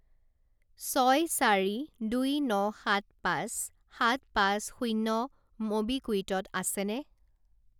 ছয় চাৰি দুই ন সাত পাঁচ সাত পাঁচ শূণ্য ম'বিকুইকত আছেনে?